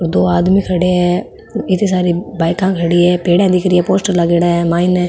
और दो आदमी खड़े है इति सारी बाईक खड़ी है पेडिया दिख रही है पोस्टर लागेड़ा है माइन --